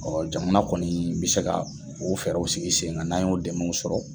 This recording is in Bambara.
jamana kɔni bɛ se ka o fɛɛrɛw sigi sen kan n'an y'o dɛmɛw sɔrɔ.